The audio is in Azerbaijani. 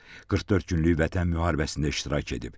44 günlük Vətən müharibəsində iştirak edib.